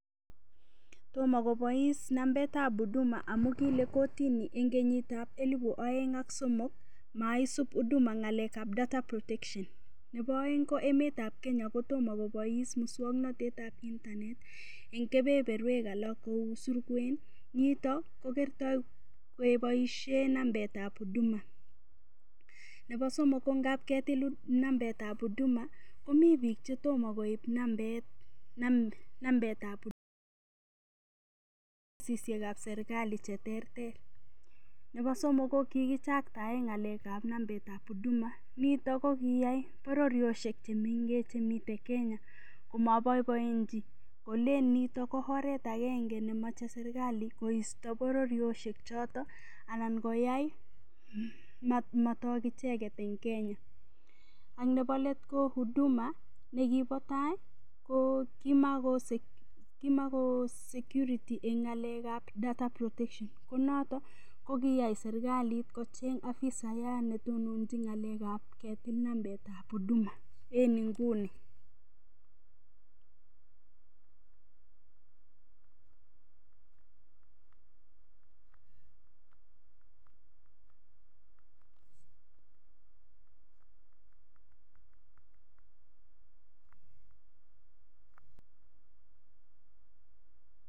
Tomo kobois nambait ab Huduma amun kile kortini en kenyit ab elibu oeng ak somok maisub Huduma ng'alek ab Data Protection . Nebo oeng ko emet ab Kenya ko tomo kobois muswokanatet ab internet en kebeberwek alak kou surkwen. Nito ko kerto keboishe nambetab Huduma. Nebo somok ko ngab ketilun nambet ab HUduma komi biik che tomo koib nambet ab Huduma. ofisishek ab serkalit che terter. Nebo somok ko kigichaktaen ng'alek ab nambet ab Huduma nito ko kiyai bororiosek che miten Kenya komoboiboenchi kolen nito ko oret agenge nemoche serkali koisto bororiosiek choto anan koyai matok icheget en Kenya ak nebo let ko Huduma nekibo tai ko kimago secure en ng'alek ab data protection ko noto ko kiyai serkalit ko cheng afisayat ne tononchin ng'alek ab ketil nambet ab Huduma en nguni.